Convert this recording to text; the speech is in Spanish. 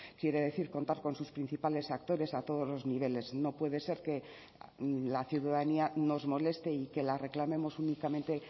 quiere decir contar con sus principales actores a todos los niveles no puede ser que la ciudadanía nos moleste y que la reclamemos únicamente